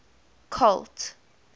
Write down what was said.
colt